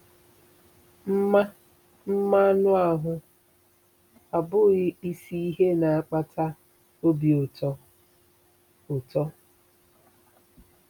Mma mma anụ ahụ abụghị isi ihe na-akpata obi ụtọ. ụtọ.